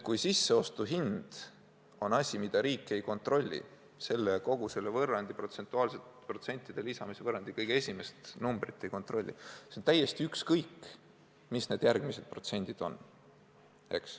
Kui sisseostuhind on asi, mida riik ei kontrolli, kui ei kontrollita kogu selle protsentide lisamise võrrandi kõige esimest numbrit, siis on üsna ükskõik, mis need muud protsendid on.